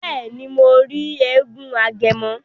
Bẹẹni, Mo ri èègún Agẹmọ